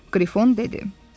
Qrifon dedi: